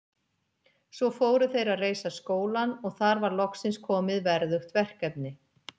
Svo fóru þeir að reisa skólann og þar var loksins komið verðugt verkefni.